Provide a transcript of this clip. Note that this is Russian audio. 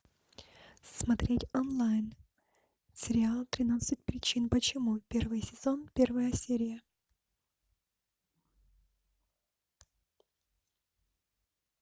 смотреть онлайн сериал тринадцать причин почему первый сезон первая серия